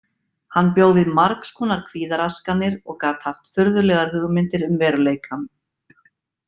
Hann bjó við margs konar kvíðaraskanir og gat haft furðulegar hugmyndir um veruleikann.